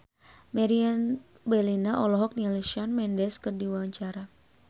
Meriam Bellina olohok ningali Shawn Mendes keur diwawancara